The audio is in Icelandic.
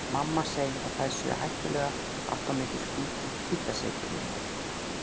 Mamma segir að þær séu hættulegar, allt of mikill hvítasykur í þeim